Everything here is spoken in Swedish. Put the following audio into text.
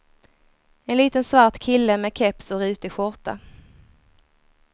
En liten svart kille med keps och rutig skjorta.